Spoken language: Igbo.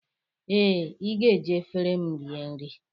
Ee, ị ga-eji efere m rie nri